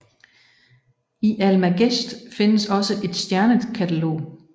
I Almagest findes også et stjernekatalog